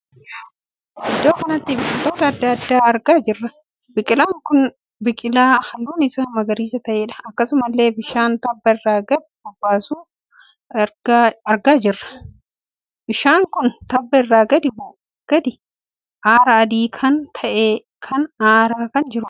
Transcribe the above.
Iddoo kanatti biqiloota addaa addaa argaa jirra. biqilaan kun biqilaa halluun isaa magariisa ta`eedha. akkasumallee bishaan tabba irra gad bubbisu argaa jirra. bishaan kun tabba irra gadi bubbisuun araa adii kan ta`e kan aaraa kan jiruudha.